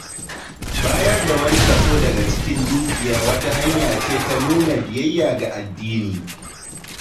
Bayar da wani kaso daga cikin dukiya wata hanyace ta nuna biyayya ga addini.